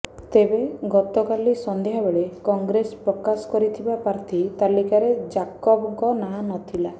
ତେବେ ଗତକାଲି ସନ୍ଧ୍ୟା ବେଳେ କଂଗ୍ରେସ ପ୍ରକାଶ କରିଥିବା ପ୍ରାର୍ଥୀ ତାଲିକାରେ ଜାକବଙ୍କ ନାଁ ନଥିଲା